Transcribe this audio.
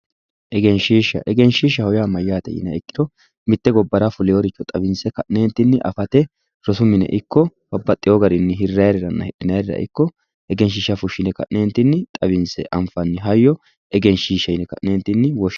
Egenshshiishsha, egenshshiishshaho yaa mayyaate yiniha ikkiha ikkiro mitte gobbara fulewooricho xawinse ka'neentinni afate rosu mine ikko babbaxino hidhinayiirira ikko hirraayiirira egenshshiishsha fushshine ka'neentinni xawinse anfanni hayyo egenshshiishsha yine ka'neentinni woshshinanni.